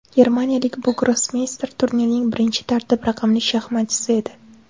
Germaniyalik bu grossmeyster turnirning birinchi tartib raqamli shaxmatchisi edi.